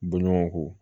Bɔɲɔgɔnko